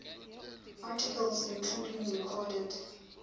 articles including recorded